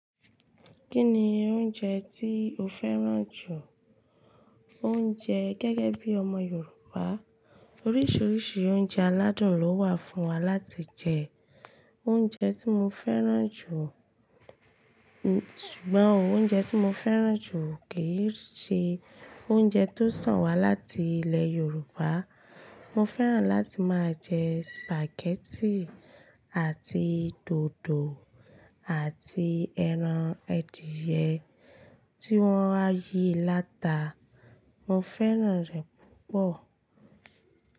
Kí ni oúnjẹ tí o fẹ́ràn jù? Oúnjẹ gẹ́gẹ́ bí ọmọ Yorùbá, oríṣiríṣi oúnjẹ aládùn ló wà fún wa láti jẹ. Oúnjẹ tí mo fẹ́ràn jù, ṣùgbọ́n ó oúnjẹ tí mo fẹ́ràn jù kì í ṣe oúnjẹ tó sàn wá láti ilẹ̀ Yorùbá. Mo fẹ́ràn láti máa jẹ spaghetti àti dòdò àti ẹran edìyẹ tí wọ́n á yí láta. Mo fẹ́ràn rẹ̀ púpọ̀.